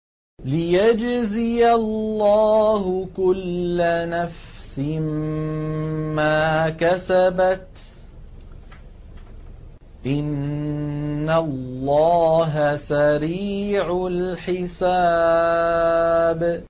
لِيَجْزِيَ اللَّهُ كُلَّ نَفْسٍ مَّا كَسَبَتْ ۚ إِنَّ اللَّهَ سَرِيعُ الْحِسَابِ